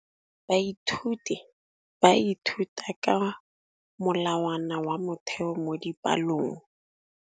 Baithuti ba ithuta ka molawana wa motheo mo dipalong.